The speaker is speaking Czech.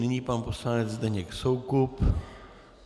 Nyní pan poslanec Zdeněk Soukup.